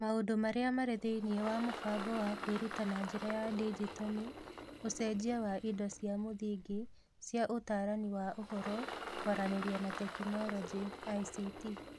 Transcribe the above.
Maũndũ marĩa marĩ thĩinĩ wa mũbango wa kwĩruta na njĩra ya digito nĩ: ũcenjia wa indo cia mũthingi cia Ũtaarani wa Ũhoro, Kwaranĩria na Teknoroji (ICT)